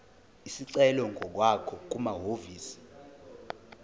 isicelo ngokwakho kumahhovisi